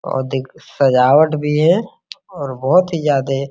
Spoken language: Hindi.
और देख सजावट भी है और बहुत ही ज्यादे --